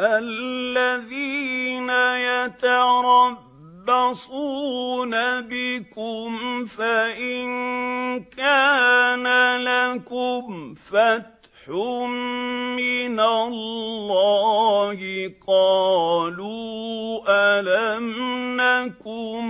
الَّذِينَ يَتَرَبَّصُونَ بِكُمْ فَإِن كَانَ لَكُمْ فَتْحٌ مِّنَ اللَّهِ قَالُوا أَلَمْ نَكُن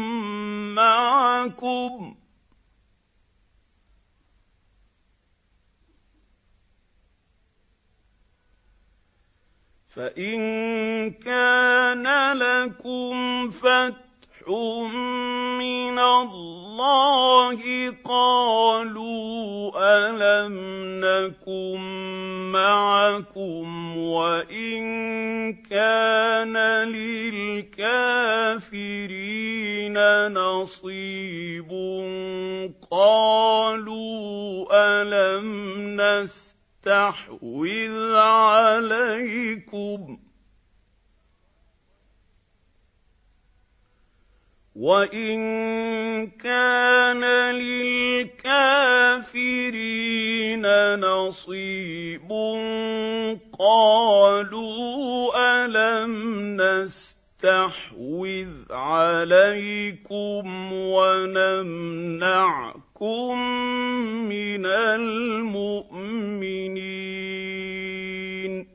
مَّعَكُمْ وَإِن كَانَ لِلْكَافِرِينَ نَصِيبٌ قَالُوا أَلَمْ نَسْتَحْوِذْ عَلَيْكُمْ وَنَمْنَعْكُم مِّنَ الْمُؤْمِنِينَ ۚ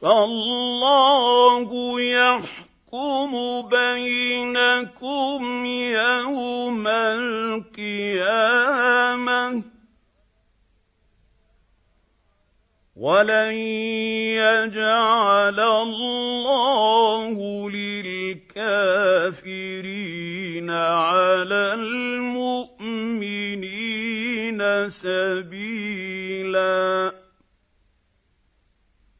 فَاللَّهُ يَحْكُمُ بَيْنَكُمْ يَوْمَ الْقِيَامَةِ ۗ وَلَن يَجْعَلَ اللَّهُ لِلْكَافِرِينَ عَلَى الْمُؤْمِنِينَ سَبِيلًا